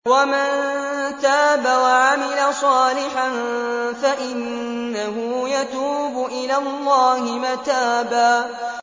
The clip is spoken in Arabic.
وَمَن تَابَ وَعَمِلَ صَالِحًا فَإِنَّهُ يَتُوبُ إِلَى اللَّهِ مَتَابًا